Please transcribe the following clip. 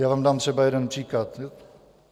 Já vám dám třeba jeden příklad.